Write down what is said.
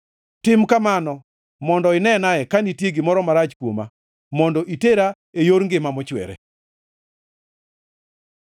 Tim kamano mondo ineane ka nitie gimoro marach kuoma, mondo itera e yor ngima mochwere.